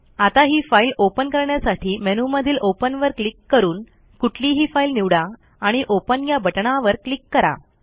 आता ही file open करण्यासाठी मेनूमधील ओपनवर क्लिक करून कुठलीही फाईल निवडा आणि ओपन या बटणावर क्लिक करा